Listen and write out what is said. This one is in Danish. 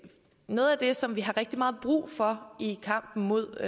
noget af det som vi har rigtig meget brug for i kampen mod